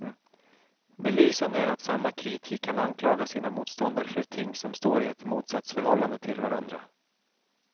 Belysande är att samma kritiker kan anklaga sina motståndare för ting som står i ett motsatsförhållande till varandra.